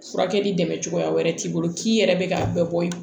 Furakɛli dɛmɛ cogoya wɛrɛ t'i bolo k'i yɛrɛ bɛ k'a bɛɛ bɔ ye